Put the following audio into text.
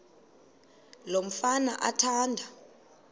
lo mfana athanda